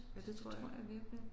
Ja det tror jeg